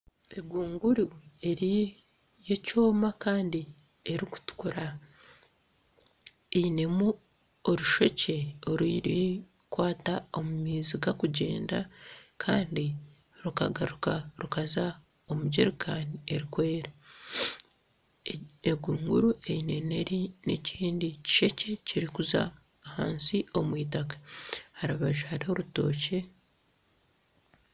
Egunguru y'ekyoma kandi erikutukura erimu orushekye orurikukwata omu maizi garikugyenda kandi rukagaruka rukaza omu jericani erikwera egunguru eine n'ekindi kishekye ekirikuza ahansi omu itaka aha rubaju hariho orutookye